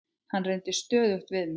Hann reyndi stöðugt við mig.